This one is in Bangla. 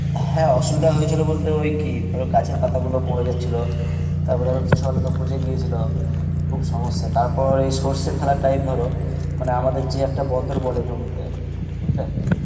হ্যাঁ অসুবিধা হয়েছিল বলতে ওই কি ধর গাছের পাতা গুলো মরে যাচ্ছিলো, তার পর ধর কিছু আলু তো পচে গেছিল, খুব সম্মস্সা তার পর এই সর্ষে ফেলার time ধরো মানে আমাদের যে একটা বলে জমি তে বুজলে